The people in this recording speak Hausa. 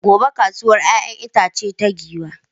Gobe ​​kasuwar 'ya'yan itace ta Giwa.